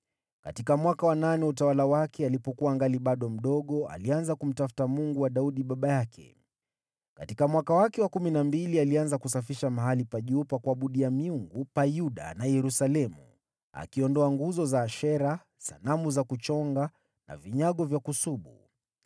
Katika mwaka wa nane wa utawala wake, alipokuwa angali bado mdogo, alianza kumtafuta Mungu wa Daudi baba yake. Katika mwaka wake wa kumi na mbili alianza kusafisha mahali pa juu pa kuabudia miungu pa Yuda na Yerusalemu, akiondoa nguzo za Ashera, sanamu za kuchonga na vinyago vya kusubu.